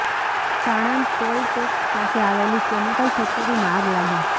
Sanand toll tax પાસે આવેલી chemical ફેકટરીમાં લાગી આગ